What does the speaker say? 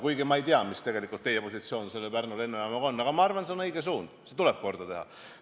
Kuigi ma ei tea, mis teie positsioon selle Pärnu lennujaama suhtes on, aga ma arvan, et see on õige suund, see tuleb korda teha.